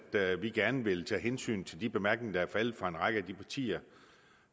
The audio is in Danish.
vi gerne vil tage hensyn til de bemærkninger der er faldet fra en række af de partier